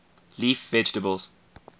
leaf vegetables